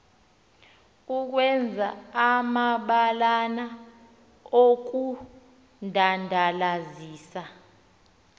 ukwenza amabalana okudandalazisa